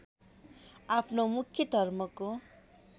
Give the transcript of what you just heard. आफ्नो मुख्य धर्मको